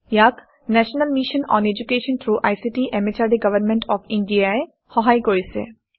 ইয়াক national mission on education through ICT MHRD government of India ই সহায় কৰিছে